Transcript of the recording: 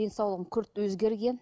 денсаулығым күрт өзгерген